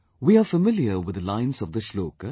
We are familiar with the lines of the Shlok